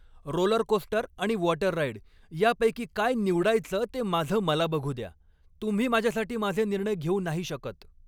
Rollercoaster आणि water ride यापैकी काय निवडायचं ते माझं मला बघू द्या, तुम्ही माझ्यासाठी माझे निर्णय घेऊ नाही शकत!